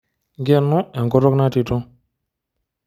Nkeno enkutuk natito.